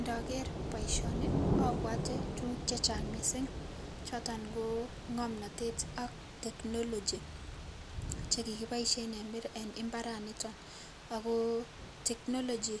Ndoker boishoni obwote tukuk chechang mising choton ko ng'omnotet ak technology chekikoboishen en imbaraniton ak ko technology